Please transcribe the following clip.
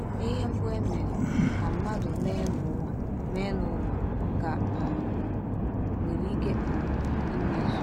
Ihe mbụ e mere ka mmadụ mee n’ụwa mee n’ụwa ka um nwere ike um imezu.